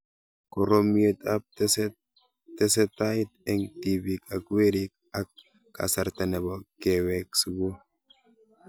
Koromiet ab tesetait eng' tipik ak werik ak kasarta nepo kewek sukul